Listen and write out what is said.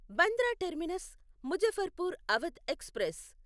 Bandra terminus Muzaffarpur Awadh express